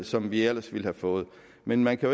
som vi ellers ville have fået men man kan